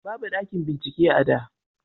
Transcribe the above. babu ɗakin bincike a da